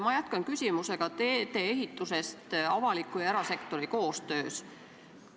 Ma jätkan küsimusega teedeehituse kohta seoses avaliku ja erasektori koostööga.